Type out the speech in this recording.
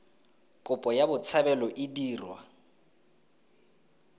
kopo ya botshabelo e dirwa